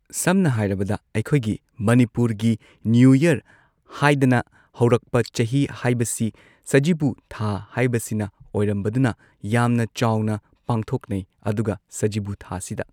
ꯁꯝꯅ ꯍꯥꯏꯔꯕꯗ ꯑꯩꯈꯣꯏꯒꯤ ꯃꯅꯤꯄꯨꯔꯒꯤ ꯅ꯭ꯌꯨ ꯌꯔ ꯍꯥꯏꯗꯅ ꯍꯧꯔꯛꯄ ꯆꯍꯤ ꯍꯥꯏꯕꯁꯤ ꯁꯖꯤꯕꯨ ꯊꯥ ꯍꯥꯏꯕꯁꯤꯅ ꯑꯣꯏꯔꯝꯕꯗꯨꯅ ꯌꯥꯝꯅ ꯆꯥꯎꯅ ꯄꯥꯡꯊꯣꯛꯅꯩ ꯑꯗꯨꯒ ꯁꯖꯤꯕꯨ ꯊꯥꯁꯤꯗ